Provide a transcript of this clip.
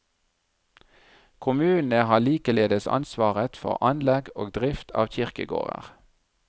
Kommunene har likeledes ansvaret for anlegg og drift av kirkegårder.